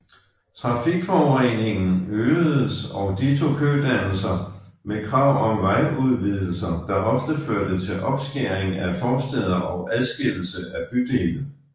Trafikforureningen øgedes og ditto kødannelser med krav om vejudvidelser der ofte førte til opskæring af forstæder og adskillelse af bydele